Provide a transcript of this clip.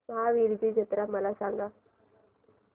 महावीरजी जत्रा मला सांग